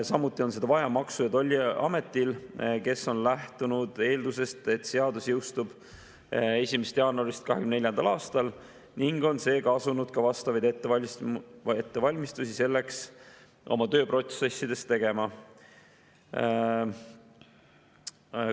Samuti on seda vaja Maksu‑ ja Tolliametil, kes on lähtunud eeldusest, et seadus jõustub 1. jaanuaril 2024. aastal, ning on seega asunud ka vastavaid ettevalmistusi selleks oma tööprotsessides tegema.